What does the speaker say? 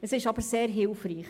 Es ist aber sehr hilfreich.